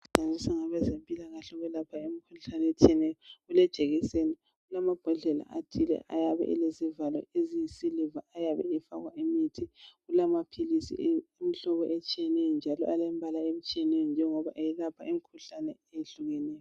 Okusetshenziswa ngabezempilakahle ukwelapha imikhuhlane etshiyeneyo kulejekiseni kulamabhodlela athile ayabe elezivalo eziyisiliva ayabe efakwa imithi, kulamaphilisi imihlobo etshiyeneyo njalo alembala etshiyeneyo njengoba ayelapha imkhuhlane ehlukeneyo.